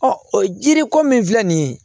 jiri ko min filɛ nin ye